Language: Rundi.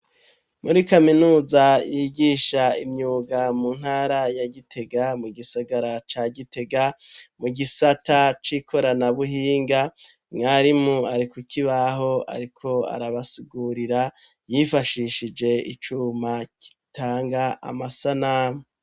Muri kaminuza yigisha imyuga mu ntara ya gitega mu gisagara ca gitega mu gisata c'ikorana buhinga mwarimu ari ku kibaho ariko arabasigurira yifashishije icuma gitanga amasanamu